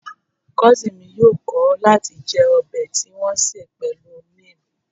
Kosin mi yoo kọ̀ láti jẹ ọbẹ̀ tí wọn ṣe pẹ̀lú neem